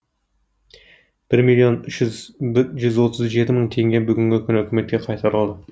бір миллион жүз отыз жеті мың теңге бүгінгі күні үкіметке қайтарылды